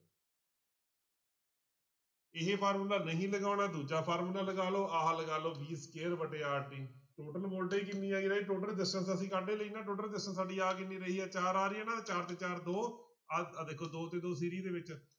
ਇਹ ਫਾਰਮੁਲਾ ਨਹੀਂ ਲਗਾਉਣਾ ਦੂਜਾ ਫਾਰਮੁਲਾ ਲਗਾ ਲਓ ਆਹ ਲਗਾ ਲਓ v square ਵਟੇ total voltage ਕਿੰਨੀ ਆ ਗਈ ਰਾਜੇ total resistance ਅਸੀਂ ਕੱਢ ਹੀ ਲਈ ਨਾ total resistance ਸਾਡੀ ਆ ਕਿੰਨੀ ਰਹੀ ਹੈ ਚਾਰ ਆ ਰਹੀ ਹੈ ਨਾ, ਚਾਰ ਤੇ ਚਾਰ ਦੋ ਆਹ ਆਹ ਦੇਖੋ ਦੋ ਤੇ ਦੋ ਦੇ ਵਿੱਚ